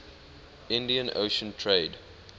indian ocean trade